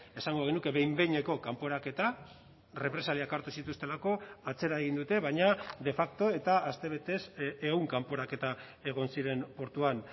esango genuke behin behineko kanporaketa represaliak hartu zituztelako atzera egin dute baina de facto eta astebetez ehun kanporaketa egon ziren portuan